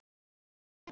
Lögun og stærð jarðar